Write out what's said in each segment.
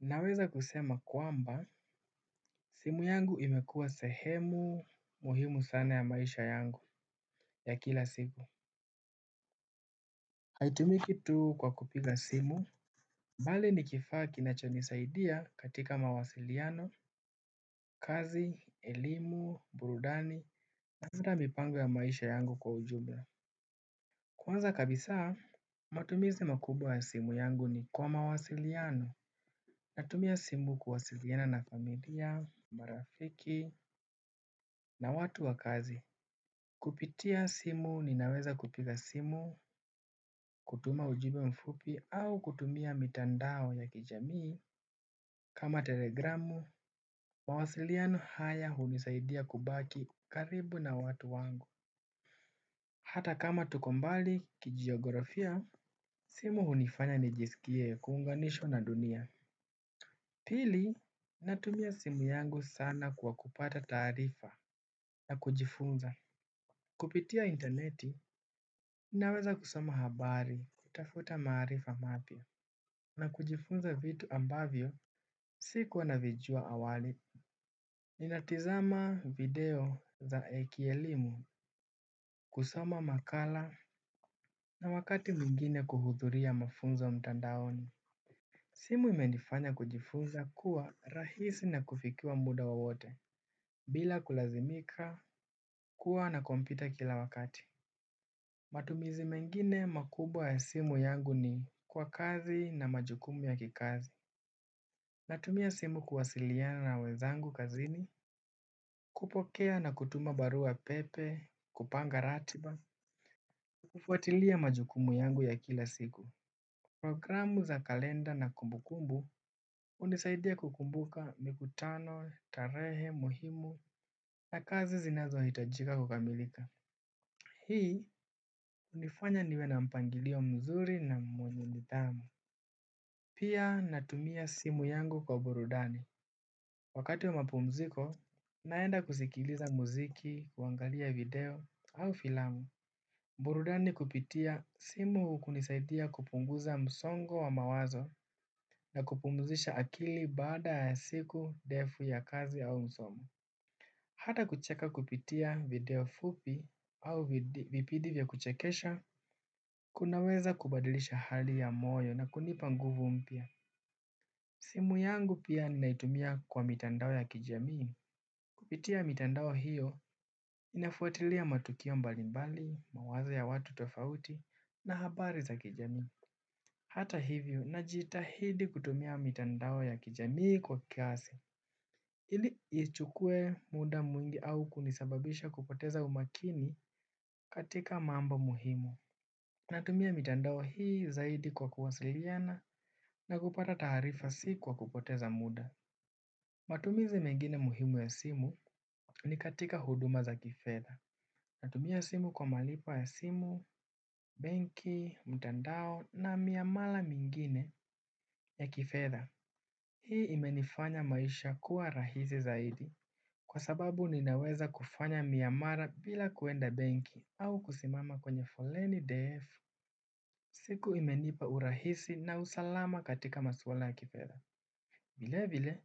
Naweza kusema kwamba simu yangu imekuwa sehemu muhimu sana ya maisha yangu ya kila siku haitumiki tu kwa kupiga simu bali ni kifaa kinachonisaidia katika mawasiliano, kazi, elimu, burudani na hata mipango ya maisha yangu kwa ujumla. Kwanza kabisa, matumizi makubwa ya simu yangu ni kwa mawasiliano. Natumia simu kuwasiliana na familia, marafiki na watu wa kazi. Kupitia simu ninaweza kupiga simu, kutuma ujumbe mfupi au kutumia mitandao ya kijamii. Kama telegramu. Mawasiliano haya hunisaidia kubaki karibu na watu wangu. Hata kama tuko mbali kijiografia, simu hunifanya nijisikie kuunganishwa na dunia. Pili, natumia simu yangu sana kwa kupata taarifa na kujifunza. Kupitia interneti ninaweza kusoma habari, kutafuta maarifa mapya na kujifunza vitu ambavyo si kuwa navijua awali. Ninatizama video za kielimu, kusoma makala na wakati mwingine kuhudhuria mafunzo mtandaoni. Simu imenifanya kujifuza kuwa rahisi na kufikiwa muda wowote bila kulazimika kuwa na kompyuta kila wakati. Matumizi mengine makubwa ya simu yangu ni kwa kazi na majukumu ya kikazi. Natumia simu kuwasiliana na wezangu kazini. Kupokea na kutuma barua pepe, kupanga ratiba. Kufuatilia majukumu yangu ya kila siku. Programu za kalenda na kumbukumbu hunisaidia kukumbuka mikutano, tarehe muhimu, na kazi zinazohitajika kukamilika. Hii hunifanya niwe na mpangilio mzuri na mwenye nidhamu. Pia natumia simu yangu kwa burudani. Wakati wa mapumziko, naenda kusikiliza muziki, kuangalia video, au filamu. Burudani kupitia simu hunisaidia kupunguza msongo wa mawazo na kupumuzisha akili baada ya siku ndefu ya kazi au msomo. Hata kucheka kupitia video fupi au vipidi vya kuchekesha, kunaweza kubadilisha hali ya moyo na kunipa nguvu mpya. Simu yangu pia naitumia kwa mitandao ya kijamii. Kupitia mitandao hiyo ninafuatilia matukio mbalimbali, mawazo ya watu tofauti na habari za kijamii. Hata hivyo najitahidi kutumia mitandao ya kijamii kwa kiasi. Ili isichukue muda mwingi au kunisababisha kupoteza umakini katika mambo muhimu. Natumia mitandao hii zaidi kwa kuwasiliana na kupata taarifa si kwa kupoteza muda. Matumizi mengine muhimu ya simu ni katika huduma za kifedha. Natumia simu kwa malipo ya simu, benki, mtandao na miamala mingine ta kifedha. Hii imenifanya maisha kuwa rahisi zaidi. Kwa sababu ninaweza kufanya miamala bila kuenda benki au kusimama kwenye foleni ndefu. Siku imenipa urahisi na usalama katika maswala ya kifedha. Vile vile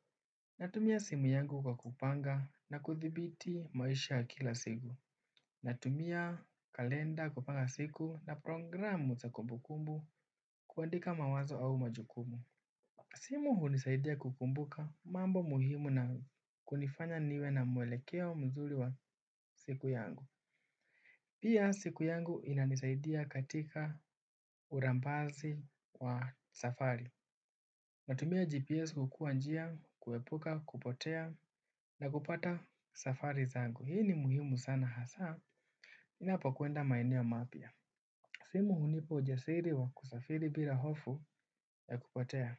natumia simu yangu kwa kupanga na kudhibiti maisha ya kila siku. Natumia kalenda kupanga siku na programu za kumbukumbu kuandika mawazo au majukumu. Simu hunisaidia kukumbuka mambo muhimu na kunifanya niwe na mwelekeo mzuri wa siku yangu. Pia siku yangu inanisaidia katika urambaji wa safari. Natumia GPS kujua njia, kuepuka kupotea na kupata safari zangu. Hii ni muhimu sana hasa. Ninapokuenda maeneo mapya. Simu hunipa ujasiri wa kusafiri bila hofu ya kupotea.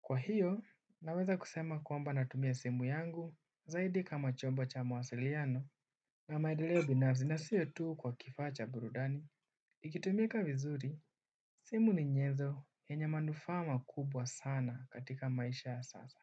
Kwa hio, naweza kusema kwamba natumia simu yangu zaidi kama chombo cha mawasiliano na maendeleo binafsi na sio tu kwa kifaa cha burudani, ni ikitumika vizuri, simu ni nyezo yenye manufaa makubwa sana katika maisha ya sasa.